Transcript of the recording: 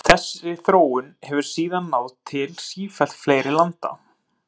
Þessi þróun hefur síðan náð til sífellt fleiri landa.